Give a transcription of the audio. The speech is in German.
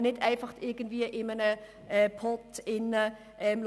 man kann nicht alles in einen Topf werfen.